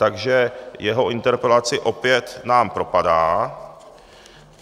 Takže jeho interpelace nám opět propadá.